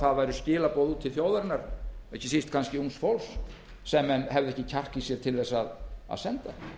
það væru skilaboð til þjóðarinnar ekki síst ungs fólks sem menn hefðu ekki kjark í sér til þess að senda